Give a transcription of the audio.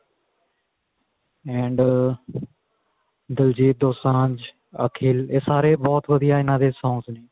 and diljit dosanjh akhil ਇਹ ਸਾਰੇ ਬਹੁਤ ਵਧੀਆ ਇਹਨਾ ਦੇ songs ਨੇ